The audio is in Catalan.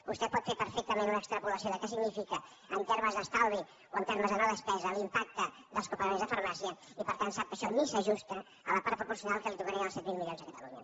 vostè pot fer perfectament una extrapolació de què significa en termes d’estalvi o en termes de no despesa l’impacte dels copagaments de farmàcia i per tant sap que això ni s’ajusta a la part proporcional que li tocarien dels set mil milions a catalunya